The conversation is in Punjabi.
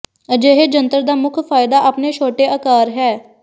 ਅਜਿਹੇ ਜੰਤਰ ਦਾ ਮੁੱਖ ਫਾਇਦਾ ਆਪਣੇ ਛੋਟੇ ਆਕਾਰ ਹੈ